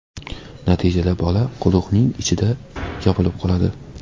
Natijada bola quduqning ichida yopilib qoladi.